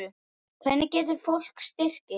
Hvernig getur fólk styrkt ykkur?